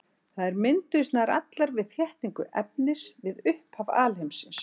Þær mynduðust nær allar við þéttingu efnis við upphaf alheimsins.